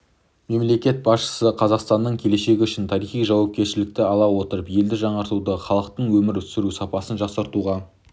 мемлекет басшысы қазақстанның келешегі үшін тарихи жауапкершілікті ала отырып елді жаңартуда халықтың өмір сүру сапасын жақсартуға